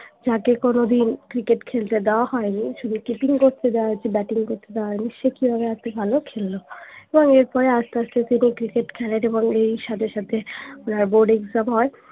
তাকে কোনোদিন cricket খেলতে দেয়া হয়নি শুধু keeping করতে দেয়া হয়েছে batting করতে দেয়া হয়নি সে কি ভাবে এত ভালো খেললো এবং এর পরে আস্তে আস্তে তিনি cricket খেলাতে বরং এর সাথে সাথে ওনার boardexam হয়